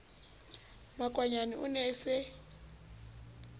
makwanyane o ne a sa